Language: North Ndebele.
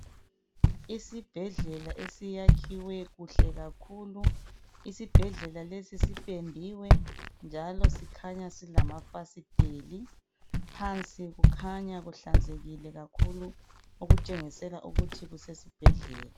Isibhedlela esiyakhiwe kuhle kakhulu, Isibhedlela lesi sipendiwe njalo sikhanya silamafasiteli. Phansi kukhanya kuhlanzekile kakhulu okutshengisela ukuthi kusesibhedlela.